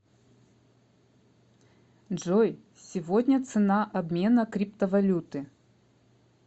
джой сегодня цена обмена криптовалюты